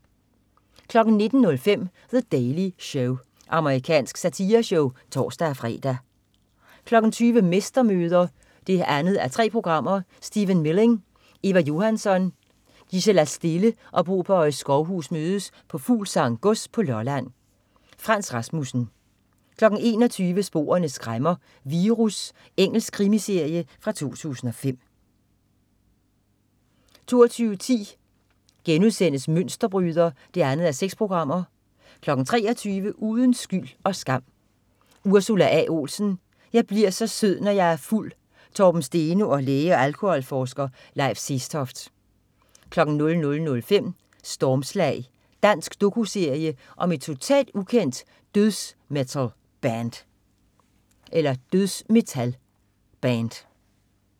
19.05 The Daily Show. Amerikansk satireshow (tors-fre) 20.00 Mestermøder 2:3. Stephen Milling, Eva Johansson, Gisela Stille og Bo Bøje Skovhus mødes på Fuglsang Gods, Lolland. Frans Rasmussen 21.00 Sporene skræmmer: Virus. Engelsk krimiserie fra 2005 22.10 Mønsterbryder 2:6* 23.00 Uden skyld og skam: Ursula A. Olsen. "Jeg bliver så sød, når jeg er fuld". Torben Steno og læge og alkoholforsker Leif Sestoft 00.05 Stormslag. Dansk doku-serie om et totalt ukendt dødsmetal-band